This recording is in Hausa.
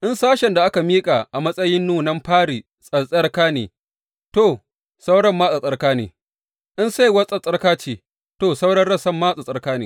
In sashen da aka miƙa a matsayin nunan fari tsattsarka ne, to, sauran ma tsattsarka ne; in saiwar tsattsarka ce, to, sauran rassan ma tsattsarka ne.